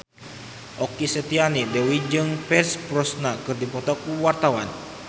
Okky Setiana Dewi jeung Pierce Brosnan keur dipoto ku wartawan